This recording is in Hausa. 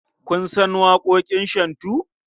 Kun san waƙoƙin shantu?